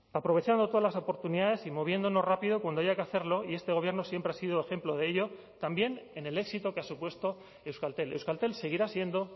aprovechando todas las oportunidades y moviéndonos rápido cuando haya que hacerlo y este gobierno siempre ha sido ejemplo de ello también en el éxito que ha supuesto euskaltel euskaltel seguirá siendo